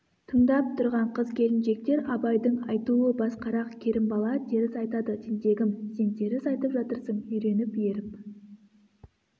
тыңдап тұрған қыз-келіншектер абайдың айтуы басқарақ керімбала теріс айтады тентегім сен теріс айтып жатырсың үйреніп еріп